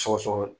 Sɔsɔ